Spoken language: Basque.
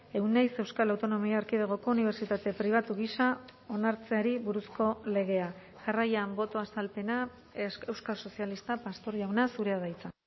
euneiz euskal autonomia erkidegoko unibertsitate pribatu gisa onartzeari buruzko legea jarraian boto azalpena euskal sozialistak pastor jauna zurea da hitza